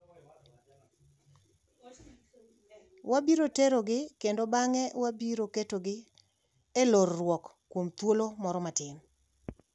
Wabiro terogi kendo bang’e wabiro ketogi e lor-ruok kuom thuolo moro matin.